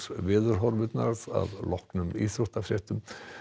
horfurnar að loknum íþróttafréttum